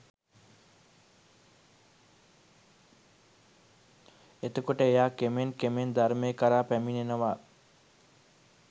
එතකොට එයා කෙමෙන් කෙමෙන් ධර්මය කරා පැමිණෙනවා